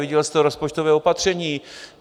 Viděl jste rozpočtové opatření.